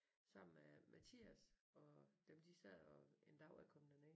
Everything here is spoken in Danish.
Sammen med Mathias og dem de sad og en dag jeg kom derned